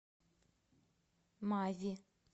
мави